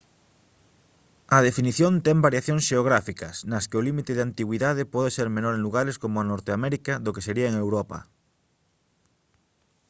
a definición ten variacións xeográficas nas que o límite de antigüidade pode ser menor en lugares como norteamérica do que sería en europa